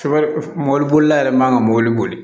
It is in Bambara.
Mɔbili bolila yɛrɛ man ka mɔbili boli